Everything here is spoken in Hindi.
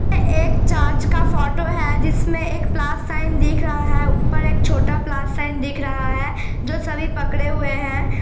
ये एक् चर्च का फोटो है। जिसमे एक प्लस साइन दिख रहा है। ऊपर एक छोटा प्लस साइन दिख रहा है। जो सभी पकड़े हुए है।